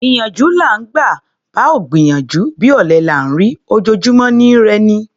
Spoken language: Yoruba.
Ìyànjú là ńgbà; bá ò gbìyànjú, bí ọ̀lẹ là ńrí; ojojúmọ́ ni í rẹ'ni.